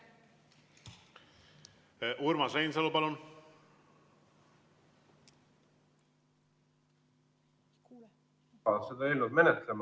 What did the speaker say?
Urmas Reinsalu, palun!